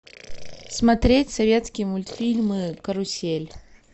смотреть советские мультфильмы карусель